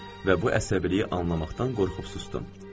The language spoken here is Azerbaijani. Və bu əsəbiliyi anlamaqdan qorxub susdum.